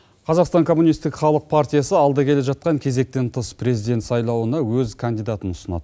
қазақстан коммунистік халық партиясы алда келе жатқан кезектен тыс президент сайлауына өз кандидатын ұсынады